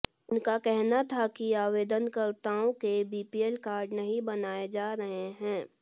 उनका कहना था कि आवेदनकर्ताओं के बीपीएल कार्ड नहीं बनाए जा रहे हैं